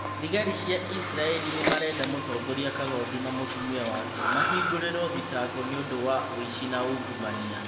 Thigari cia isiraĩri nĩmarenda mũtongoria kagondu na mũtumia wake mahingũrĩrwo thitango nĩũndũ wa ũici na ungumania